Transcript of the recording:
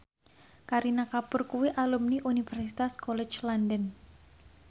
Kareena Kapoor kuwi alumni Universitas College London